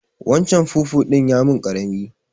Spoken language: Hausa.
Waccan fufun ya yi min ƙarami.